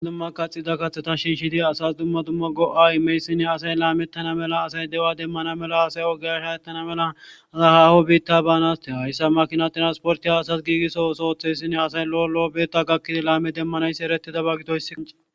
Dumma kaxida kaththeta shiishidi asas dumma dumma go'a imeyssine asay laameettana mela asay deua demmana mela asay ogeyasha ettana mela asay haho biitta baanaste hayssa makina tiransporti ha asas giigisso osootheyssinne asay lo'o lo'obeetta gakkidi laame demmanaysi eretida baggitoysi.